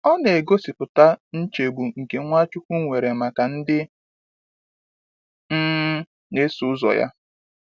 Ọ na-egosipụta nchegbu nke Nwachukwu nwere maka ndị um na-eso ụzọ ya.